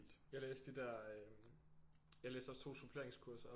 Jeg læste de der jeg læste også 2 suppleringskurser op